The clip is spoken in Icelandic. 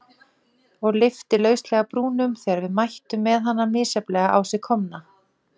Og lyfti lauslega brúnum þegar við mættum með hana misjafnlega á sig komna.